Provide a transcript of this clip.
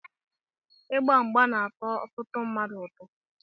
Igba mgba na-atọ ọtụtụ mmadụ ụtọ.